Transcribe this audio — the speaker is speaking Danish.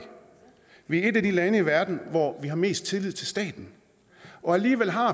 vi er et af de lande i verden hvor vi har mest tillid til staten og alligevel har